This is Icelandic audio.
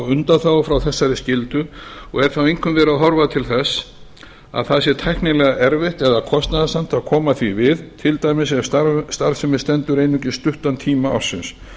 undanþágu frá þessar skyldu og er þá einkum verið að horfa til þess að það sé tæknilega erfitt eða kostnaðarsamt að koma því við til dæmis ef starfsemin stendur einungis stuttan tíma ársins